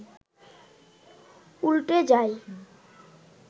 উল্টে যায়